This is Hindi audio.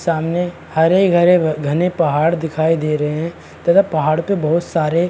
सामने हरे घरे घने पहाड़ दिखाई दे रहे हैं तथा पहाड़ पर बहुत सारे--